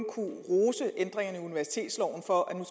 universitetsloven for at der